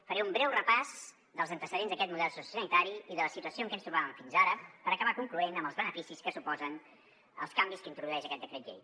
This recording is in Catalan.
faré un breu repàs dels antecedents d’aquest model sociosanitari i de la situació en què ens trobàvem fins ara per acabar concloent amb els beneficis que suposen els canvis que introdueix aquest decret llei